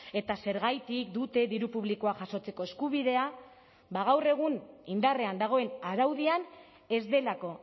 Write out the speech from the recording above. eta zergatik dute diru publikoa jasotzeko eskubidea ba gaur egun indarrean dagoen araudian ez delako